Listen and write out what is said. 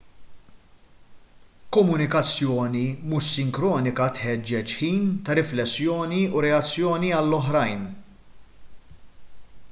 komunikazzjoni mhux sinkronika tħeġġeġ ħin ta' riflessjoni u reazzjoni għall-oħrajn